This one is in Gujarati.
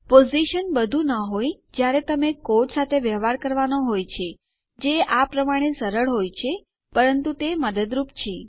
પોઝિશન બધું ન હોય જ્યારે તમારે કોડ સાથે વ્યવહાર કરવાનો હોય છે જે આ પ્રમાણે સરળ હોય છે પરંતુ તે મદદરૂપ છે